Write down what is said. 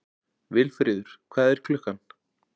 Vilfríður, hvað er klukkan?